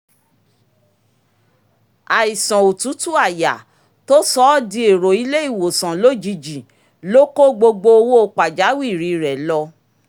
àìsàn òtútù àyà tó sọ ọ́ dì èrò ilé ìwòsàn lójijì ló kó gbogbo owó pàjáwìrì rẹ̀ lọ